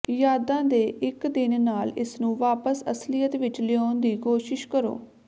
ਯਾਦਾਂ ਦੇ ਇੱਕ ਦਿਨ ਨਾਲ ਇਸਨੂੰ ਵਾਪਸ ਅਸਲੀਅਤ ਵਿੱਚ ਲਿਆਉਣ ਦੀ ਕੋਸ਼ਿਸ਼ ਕਰੋ